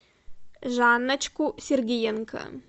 жанночку сергиенко